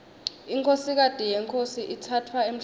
inkhosikati yenkhosi itsatfwa emhlangeni